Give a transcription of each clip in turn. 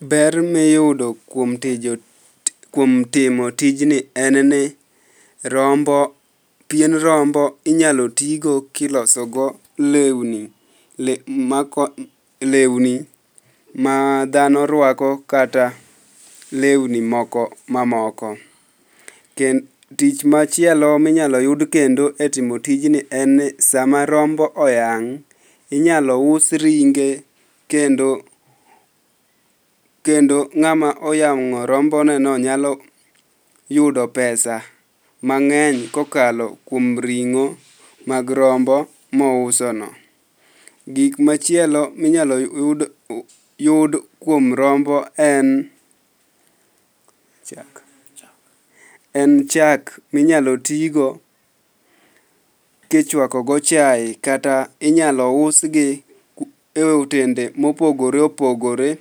Ber miyudo kuom timo tijni en ni pien rombo inyalo tigo kilosogo lewni ma dhano rwako, kata lewni mamoko. Tich machielo minyalo yud kendo etimo tijni en ni sama rombo oyang'inyalo us ringe, kendo ng'ama oyang'o rombo neno nyalo yudo pesa mang'eny kokalo kuom ring'o mag rombo mousono. Gik machielo minyalo yud kuom rombo en chak minyalo tigo kichwakogo chaye kata inyalo usgi e otende mopogore opogore,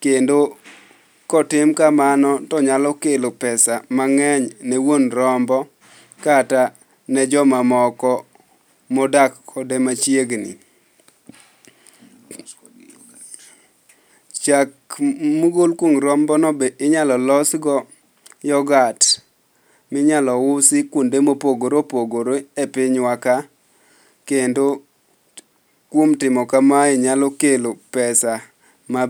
kendo kotim kamano tonyalo kelo pesa mang'eny ne wuon rombo, kata ne jomamoko modak kode machiegni. Chak mogol kuom rombone be inyalo losgo yogat minyalo usi kwonde mopogore opogore e pinywa ka kendo kuom timo kamae, nyalo kelo pesa maber.